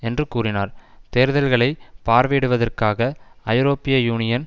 என்று கூறினார் தேர்தல்களை பார்வையிடுவதற்காக ஐரோப்பிய யூனியன்